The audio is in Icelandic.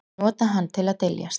Nota hann til að dyljast.